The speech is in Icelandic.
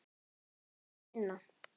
Ég þurfti að vinna.